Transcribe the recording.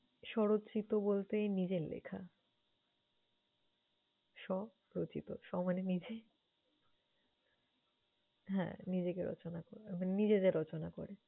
স্বরচিত বলতে নিজের লেখা। স্ব রচিত, স্ব মানে নিজে, হ্যাঁ! নিজেকে রচনা করা মানে নিজে যে রচনা করে।